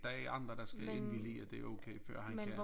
Der er andre der skal indvillige i at det okay før han kan